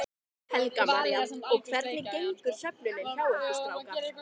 Helga María: Og hvernig gengur söfnunin hjá ykkur strákar?